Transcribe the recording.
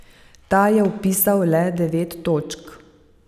Ta je vpisal le devet točk.